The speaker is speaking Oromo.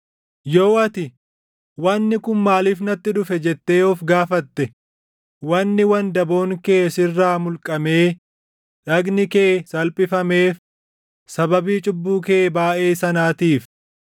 Yoo ati, “Wanni kun maaliif natti dhufe?” jettee of gaafatte wanni wandaboon kee sirraa mulqamee dhagni kee salphifameef sababii cubbuu kee baayʼee sanaatiif.